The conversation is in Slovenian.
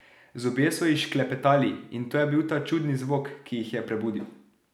Zobje so ji šklepetali, in to je bil ta čudni zvok, ki jih je prebudil.